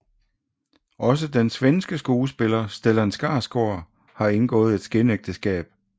Også den svenske skuespiller Stellan Skarsgård har indgået et skinægteskab